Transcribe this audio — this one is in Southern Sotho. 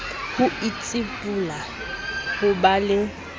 ho itsibola ho ba le